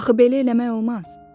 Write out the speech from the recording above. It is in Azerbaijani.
Axı belə eləmək olmaz.